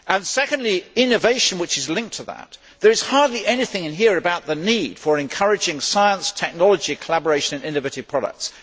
Secondly, innovation, which is linked to that. There is hardly anything in here about the need for encouraging science technology collaboration in innovative products.